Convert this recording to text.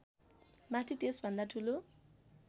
माथि त्यसभन्दा ठुलो